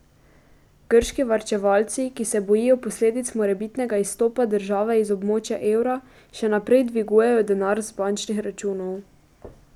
Grški varčevalci, ki se bojijo posledic morebitnega izstopa države iz območja evra, še naprej dvigujejo denar z bančnih računov.